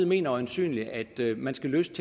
mener øjensynligt at man skal løse